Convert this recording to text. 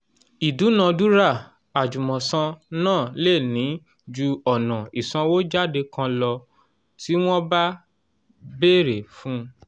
ìdúnadúrà àjùmọ̀san náà lè ní ju ọ̀nà ìsànwójáde kan lọ tí wọ́n bá bẹ̀rẹ̀ fun